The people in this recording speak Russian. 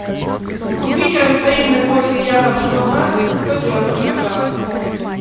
купить растворимый кофе якобс монарх сто девяносто грамм